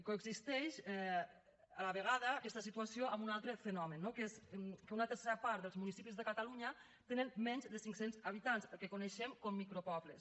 coexisteix a la vegada aquesta situació amb un altre fenomen no que és que una tercera part dels municipis de catalunya tenen menys de cinc cents habitants el que coneixem com a micropobles